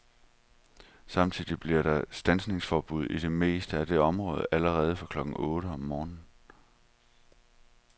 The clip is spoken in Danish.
Samtidig bliver der standsningsforbud i det meste af det område allerede fra klokken otte om morgenen.